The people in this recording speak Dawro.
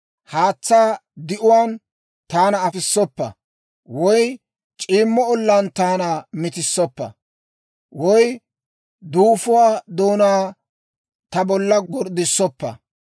Haatsaa di"uwaan taana afissoppa; woy c'iimmo olaan taana mitissoppa; woy duufuwaa doonaa ta bolla gorddisoppa.